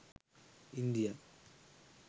india